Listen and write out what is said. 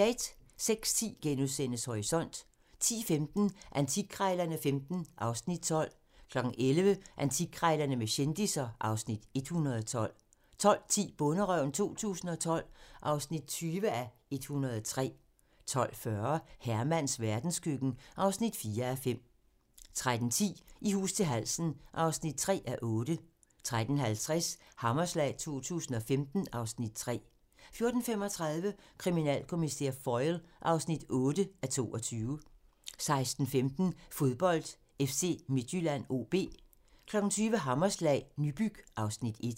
06:10: Horisont * 10:15: Antikkrejlerne XV (Afs. 12) 11:00: Antikkrejlerne med kendisser (Afs. 112) 12:10: Bonderøven 2012 (20:103) 12:40: Hermans verdenskøkken (4:5) 13:10: I hus til halsen (3:8) 13:50: Hammerslag 2015 (Afs. 3) 14:35: Kriminalkommissær Foyle (8:22) 16:15: Fodbold: FC Midtjylland-OB 20:00: Hammerslag - Nybyg (Afs. 1)